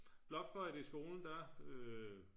blokfløjtei skolen der